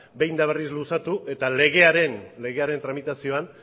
behin eta berriz luzatu eta legearen tramitazioan